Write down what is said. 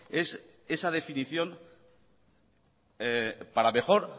es esa definición para mejor